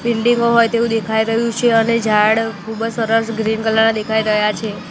બિલ્ડિંગોમાં તેવુ દેખાઈ રહ્યુ છે અને ઝાડ ખૂબ સરસ ગ્રીન કલર ના દેખાઈ રહ્યા છે.